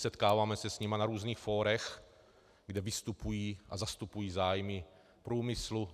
Setkáváme se s nimi na různých fórech, kde vystupují a zastupují zájmy průmyslu.